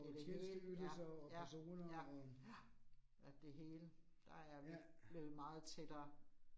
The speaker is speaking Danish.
Det rigeligt, ja, ja, ja, ja, at det hele, der er vi blevet meget tættere